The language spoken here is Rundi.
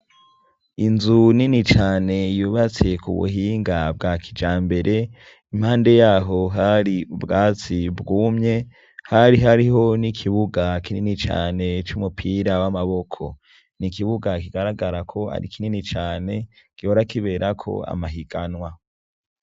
Inzu nini cane yubatse ku buhinga bwa kija mbere ,impande yaho hari ubwatsi bwumye ,hari hariho n'ikibuga kinini cane c'umupira w'amaboko, ni ikibuga kigaragara ko ari kinini cane gihora kibera ko amahiganwa.